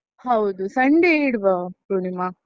ಹೌದು, sunday ಯೆ ಇಡ್ವಾ ಪೂರ್ಣಿಮಾ.